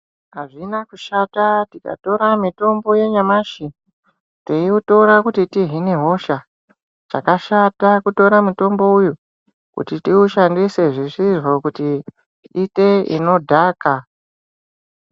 Hazvina kushata tikatora mitombo yanyamashi teiutora kuti tihine hosha. Chakashata kutora mutombo uyu kuti tiushandise zvisizvo kuti tiite zvinodhaka.